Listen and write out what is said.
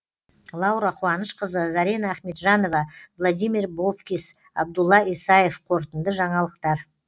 лаура қуанышқызы зарина ахметжанова владимир бовкис абдулла исаев қорытынды жаңалықтар